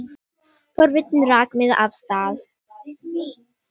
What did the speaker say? Forvitnin rak mig af stað.